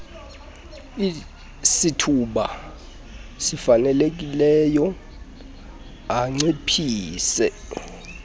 sithuba sifanelekileyo anciphise